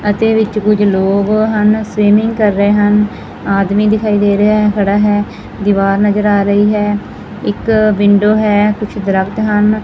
ਅਤੇ ਵਿੱਚ ਕੁਝ ਲੋਕ ਹਨ ਸਵਿਮਿੰਗ ਕਰ ਰਹੇ ਹਨ ਆਦਮੀ ਦਿਖਾਈ ਦੇ ਰਿਹਾ ਹੈ ਖੜਾ ਹੈ ਦੀਵਾਰ ਨਜ਼ਰ ਆ ਰਹੀ ਹੈ ਇੱਕ ਵਿੰਡੋ ਹੈ ਕੁਝ ਦਰਖਤ ਹਨ।